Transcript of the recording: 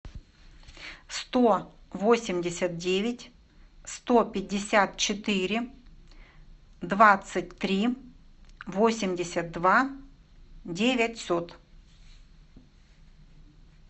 сто восемьдесят девять сто пятьдесят четыре двадцать три восемьдесят два девятьсот